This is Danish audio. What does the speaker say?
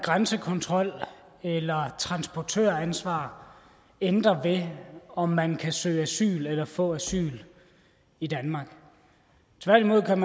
grænsekontrol eller transportøransvar ændrer ved om man kan søge asyl eller få asyl i danmark tværtimod kan